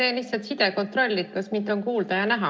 Teen lihtsalt sidekontrolli, kas mind on kuulda ja näha.